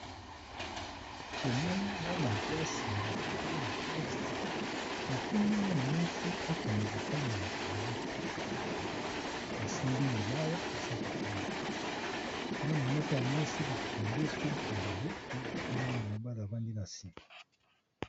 Tomoni bana clasi bafandi na klase batindi mwana moko akende kotanga na tambo asimbi libaya asa kotanga mwana moko ya masi bakangi esuki ya maboko na mwana mobali avandi na sika.